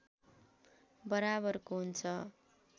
बराबरको हुन्छ